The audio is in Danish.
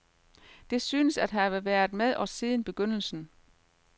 Det synes at have været med os siden begyndelsen.